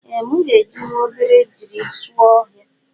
Ee mụ ga ejinwụ obejiri sụọ ọhia.